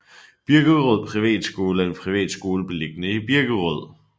Birkerød Privatskole er en privatskole beliggende i Birkerød